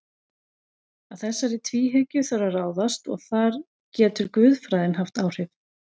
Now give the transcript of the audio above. Að þessari tvíhyggju þarf að ráðast og þar getur guðfræðin haft áhrif.